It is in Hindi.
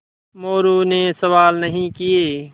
मोरू ने सवाल नहीं किये